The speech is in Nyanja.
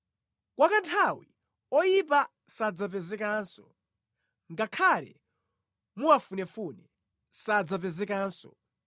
Kwa kanthawi oyipa sadzapezekanso; ngakhale muwafunefune, sadzapezekanso.